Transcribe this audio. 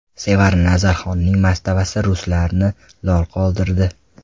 Sevara Nazarxonning mastavasi ruslarni lol qoldirdi.